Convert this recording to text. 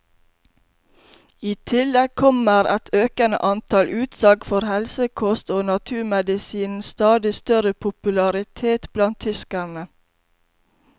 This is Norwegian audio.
I tillegg kommer et økende antall utsalg for helsekost og naturmedisinens stadig større popularitet blant tyskerne.